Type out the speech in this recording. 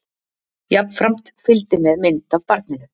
Jafnframt fylgdi með mynd af barninu